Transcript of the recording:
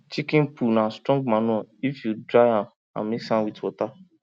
chicken poo na strong manure if you dry am and mix with water